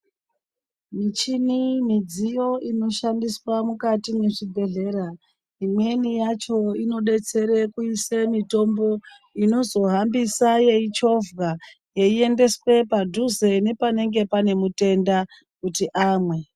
Michini midziyo inoshandiswa mukati mwe zvibhedhlera imweni yacho ino detsera kuise mitombo inozo hambisa yei chovhwa yei endeswe padhuze ne panenge pane mutenda kuti amwe.